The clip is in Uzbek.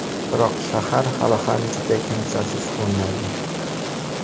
Biroq shahar hali ham juda kimsasiz ko‘rinadi.